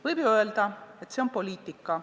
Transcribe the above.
Võib ju öelda, et see on poliitika.